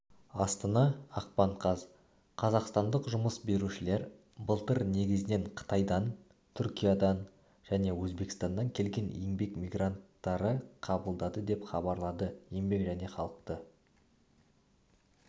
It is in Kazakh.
астана ақпан қаз қазақстандық жұмыс берушілер былтыр негізінен қытайдан түркиядан және өзбекстаннан келген еңбек мигранттары қабылдады деп хабарлады еңбек және халықты